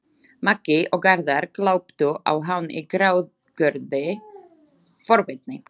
Maggi og Garðar gláptu á hann í gráðugri forvitni.